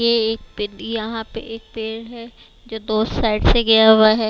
यह एक यहाँ पे एक पेड़ है जो तो उस साइड से गया हुआ है।